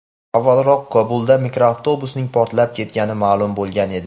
Avvalroq Kobulda mikroavtobusning portlab ketganligi ma’lum bo‘lgan edi.